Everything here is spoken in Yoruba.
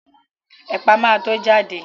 Ẹ̀pà ma tó jáde